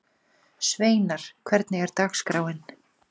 Sveinar, hvernig er dagskráin?